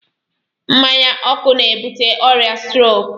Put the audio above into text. Mmanya ọkụ na-ebute ọrịa stroke.